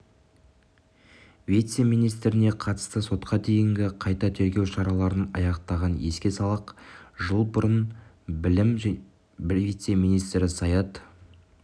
вице-министріне қатысты сотқа дейінгі қайта тергеу шараларын аяқтаған еске салақ жыл бұрын білім вице-министрі саят